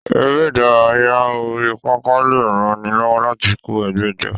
Eré ìdárayá orí pápá lè ran ni lọ́wọ́ láti kó ẹgbẹ́ jọ.